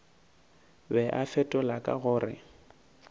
be a fetola ka gore